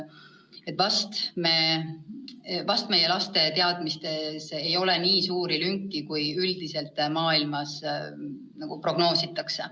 Ehk meie laste teadmistes ei ole nii suuri lünki, kui üldiselt maailmas prognoositakse.